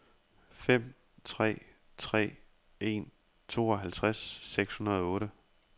fem tre tre en tooghalvtreds seks hundrede og otte